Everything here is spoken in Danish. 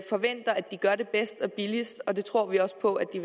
forventer at de gør det bedst og billigst og det tror vi også på de